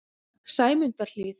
Sæmundarhlíð